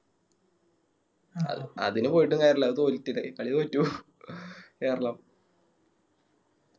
അഹ് അതിന് പോയിട്ടും കാര്യല്ല അത് തോല് കളി തോറ്റോക്കും കേരളം